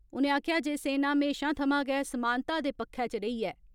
उनें आक्खेआ जे सेना महेशां थमां गै समान्ता दे पक्खै च रेही ऐ।